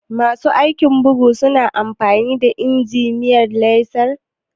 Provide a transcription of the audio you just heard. Masu aikin bugu su na amfani da injimin laser?